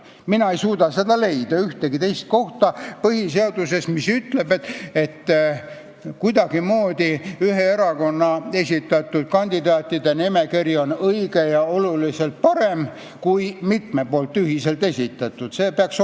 Mina ei suuda leida ühtegi teist kohta põhiseaduses, mis ütleb, et ühe erakonna esitatud kandidaatide nimekiri on kuidagimoodi õigem ja oluliselt parem kui mitme ühiselt esitatud nimekiri.